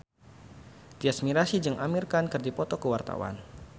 Tyas Mirasih jeung Amir Khan keur dipoto ku wartawan